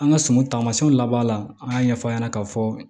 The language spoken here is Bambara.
An ka sɔngɔ taamasiyɛnw labaara la an y'a ɲɛfɔ a ɲɛna k'a fɔ